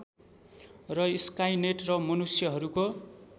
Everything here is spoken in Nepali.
र स्काइनेट र मनुष्यहरूको